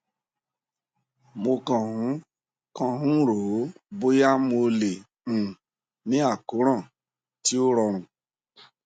mo kàn ń kàn ń rò ó bóyá mo lè um ní àkóràn tí ó rọrùn